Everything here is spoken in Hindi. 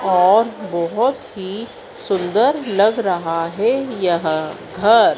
और बहोत ही सुंदर लग रहा है यहां घर--